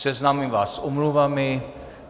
Seznámím vás s omluvami.